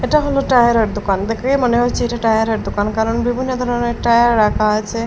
এটা হল টায়ারের -এর দোকান দেখেই মনে হচ্ছে এটা টায়ারের -এর দোকান কারণ বিভিন্ন ধরনের টায়ার রাখা আছে।